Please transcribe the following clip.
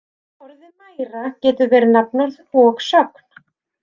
Orðið mæra getur verið nafnorð og sögn.